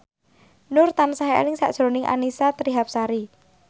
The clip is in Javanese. Nur tansah eling sakjroning Annisa Trihapsari